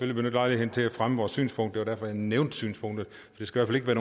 lejligheden til at fremme vores synspunkt det var derfor jeg nævnte synspunktet det skal